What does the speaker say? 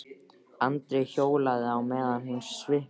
Andri hjólaði á meðan hún sippaði.